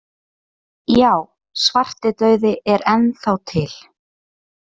Já, svartidauði er enn þá til.